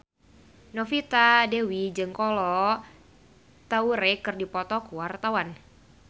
Novita Dewi jeung Kolo Taure keur dipoto ku wartawan